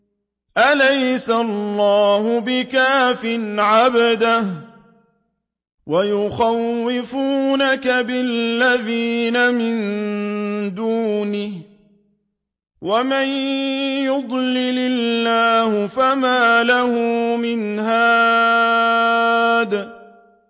أَلَيْسَ اللَّهُ بِكَافٍ عَبْدَهُ ۖ وَيُخَوِّفُونَكَ بِالَّذِينَ مِن دُونِهِ ۚ وَمَن يُضْلِلِ اللَّهُ فَمَا لَهُ مِنْ هَادٍ